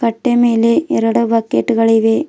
ಪಟ್ಟೆ ಮೇಲೆ ಎರಡು ಬಕೆಟ್ ಗಳು ಇವೆ.